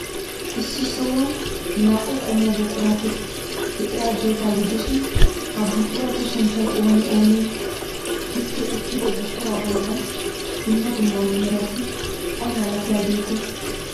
Issi sohuwan naa'u qommo buqurati de'iyaageeta gidishin, ha buquratu sunttay oonee oonee? Distte uttido buquraa bollan dumma dumma merati ay malatiyaageetee?